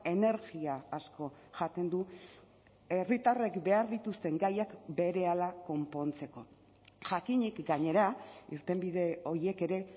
energia asko jaten du herritarrek behar dituzten gaiak berehala konpontzeko jakinik gainera irtenbide horiek ere